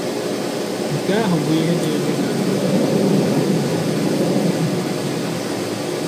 Nke ahụ bụ ihe na-eme ka nzukọ bụrụ um ihe ịga nke ọma.